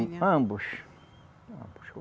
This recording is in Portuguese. Ambos. Ambos.